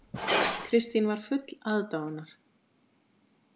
Kristín var full aðdáunar.